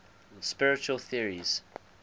spiritual theories